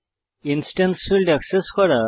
instance fields access করা